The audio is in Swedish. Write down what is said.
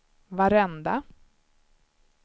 varenda